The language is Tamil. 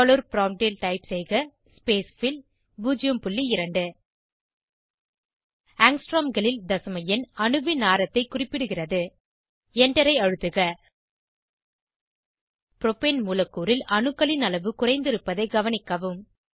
டாலர் ப்ராம்ப்ட் ல் டைப் செய்க ஸ்பேஸ்ஃபில் 02 ஆங்ஸ்ட்ரோம் களில் தசம எண் அணுவின் ஆரத்தை குறிப்பிடுகிறது Enter ஐ அழுத்துக ப்ரோப்பேன் மூலக்கூறில் அணுக்களின் அளவு குறைந்திருப்பதைக் கவனிக்கவும்